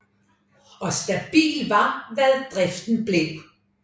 Og stabil var hvad driften blev